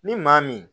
Ni maa min